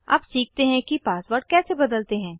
अब सीखते हैं कि पासवर्ड कैसे बदलते हैं